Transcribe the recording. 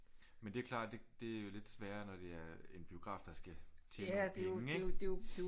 Men det er klart det er jo lidt sværere når det er en biograf der skal tjene nogle penge ikke